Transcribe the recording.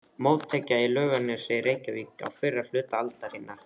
Mótekja í Laugarnesi í Reykjavík á fyrri hluta aldarinnar.